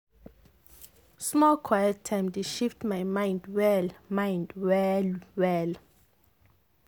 small quiet time dey shift my mind well mind well well.